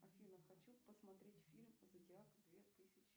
афина хочу посмотреть фильм зодиак две тысячи